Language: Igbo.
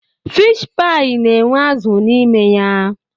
Fiish paị na-enwe azụ n'ime ya.